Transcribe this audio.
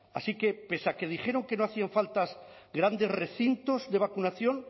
así que pese a que dijeron que no hacían falta grandes recintos de vacunación